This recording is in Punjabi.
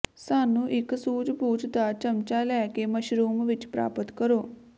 ਸਾਨੂੰ ਇੱਕ ਸੂਝਬੂਝ ਦਾ ਚਮਚਾ ਲੈ ਕੇ ਮਸ਼ਰੂਮ ਵਿੱਚ ਪ੍ਰਾਪਤ ਕਰੋ